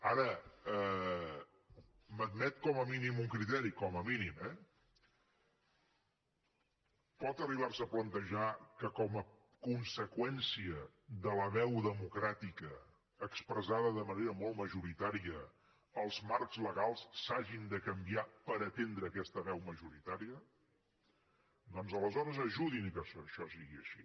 ara m’admet com a mínim un criteri com a mínim eh pot arribar se a plantejar que com a conseqüència de la veu democràtica expressada de manera molt majoritària els marcs legals s’hagin de canviar per atendre aquesta veu majoritària doncs aleshores ajudin que això sigui així